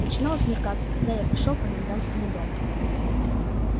начинало смеркаться когда пришёл я к комендантскому дому